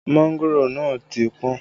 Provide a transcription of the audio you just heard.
Mángòrò náà ti pọ́n